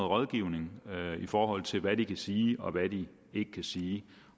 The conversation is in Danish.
rådgivning i forhold til hvad de kan sige og hvad de ikke kan sige